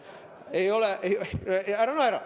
Ära naera!